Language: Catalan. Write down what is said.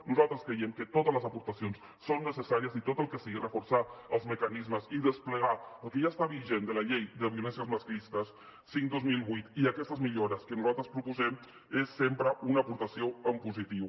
nosaltres creiem que totes les aportacions són necessàries i tot el que sigui reforçar els mecanismes i desplegar el que ja està vigent de la llei de violències masclistes cinc dos mil vuit i aquestes millores que nosaltres proposem és sempre una aportació en positiu